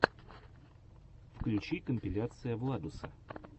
включи компиляция владуса